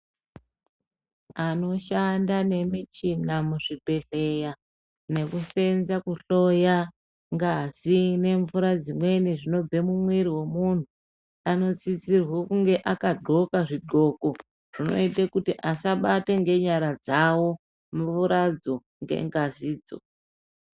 Anoshanda nemichina muzvibhedhleya nekusenza kuhloya ngazi nemvura zvinobva mumwiri wemuntu anosisirwe kunge a akadxoka zvidxoko zvinoite kuti asabate ngenyara dzawo mvuradzo ngengazidzo.